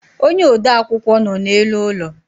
ónyé ode akwukwọ nọ n' élú ụlọ.